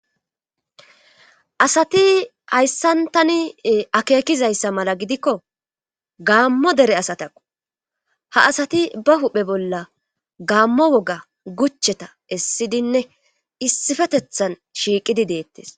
asati hayssan tani akeekizayssa mala gidikko gaammo dere asatako ha asati ba huphe bolla gaammo woga gucheta essidinne issifetethan shiiqidi deettes